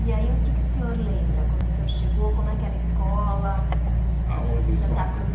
E aí, o que é que o senhor lembra, quando o senhor chegou, como é que era a escola Aonde em Santa Cruz?